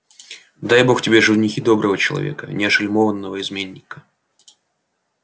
дай бог тебе в женихи доброго человека не ошельмованного изменника